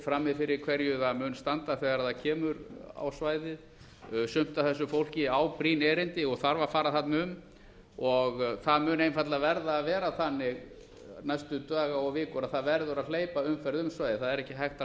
frammi fyrir hverju það mun standa þegar það kemur á svæðið sumt af þessu fólki á brýn erindi og þarf að fara þarna um og það mun einfaldlega verða að vera þannig næstu daga og vikur að það verður að hleypa umferð um svæðið það er ekki hægt að